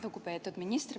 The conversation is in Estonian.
Lugupeetud minister!